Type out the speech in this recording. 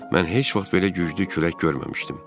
Mən heç vaxt belə güclü külək görməmişdim.